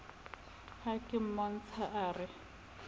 ha ke mmotsa a re